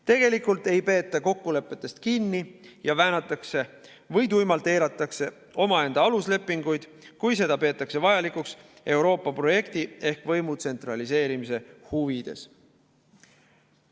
Tegelikult ei peeta kokkulepetest kinni ja väänatakse või tuimalt eiratakse omaenda aluslepinguid, kui seda peetakse vajalikuks Euroopa projekti ehk võimu tsentraliseerimise huvides.